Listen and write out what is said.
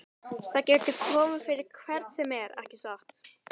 Það getur komið fyrir hvern sem er, ekki satt?